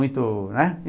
muito, né?